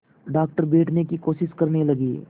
doctor बैठने की कोशिश करने लगे